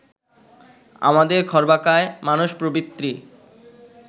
আমাদের খর্বাকায় মানসপ্রবৃত্তি